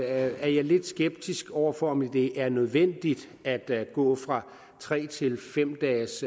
er jeg lidt skeptisk over for om det er nødvendigt at gå fra tre til fem dages